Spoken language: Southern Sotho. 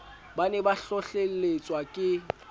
ba ne ba hlohlelletswa ke